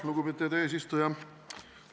Lugupeetud eesistuja!